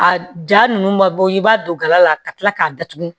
A ja nunun ma bɔ i b'a don gala la ka kila k'a datugu